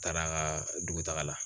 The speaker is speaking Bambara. Taara a ka dugutaga la